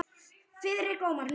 Friðrik Ómar: Nú?